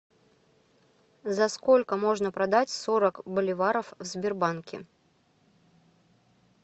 за сколько можно продать сорок боливаров в сбербанке